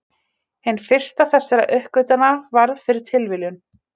Hin fyrsta þessara uppgötvana varð fyrir tilviljun.